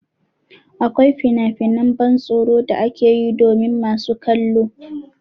Akwai finafinan ban tsoro da ake yi domin masu kallo.